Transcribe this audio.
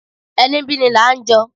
Ení bí ní la ń jọ